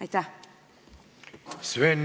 Aitäh!